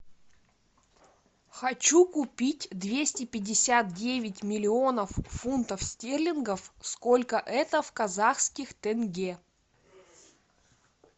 хочу купить двести пятьдесят девять миллионов фунтов стерлингов сколько это в казахских тенге